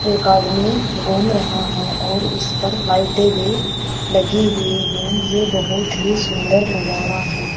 एक आदमी घूम रहा है और इस पर लाइटें भी लगी हुई है यह बहुत ही सुंदर नजारा है।